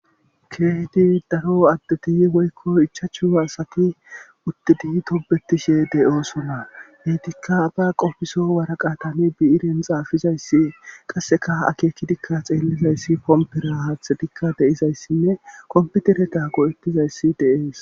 keehdi daro addeti woykko ichachu asati uttidi tobetishe de'osna heytikka aba qofiso waraqatami biyiren xaafizayssi qasseka akekki dikka xeellizayssi pompera haaththe dikka deizayssinne kompitereta go7ettizayssi dee'es